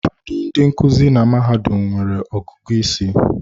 Ụfọdụ ndị nkuzi na mahadum nwere ọgụgụ isi.